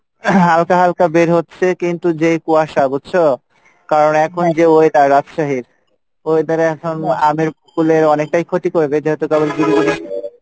হালকা হালকা বের হচ্ছে, কিন্তু যেই কুয়াশা বুঝছো? কারন এখন যে weather রাজশাহীর weather এ এখন আমের মুকুলের অনেকটাই ক্ষতি করবে যেহেতু